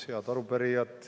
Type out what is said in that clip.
Head arupärijad!